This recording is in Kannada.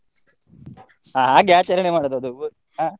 ಹಾ ಹಾಗೆ ಆಚರಣೆ ಮಾಡುದ ಅದು ಹಾ?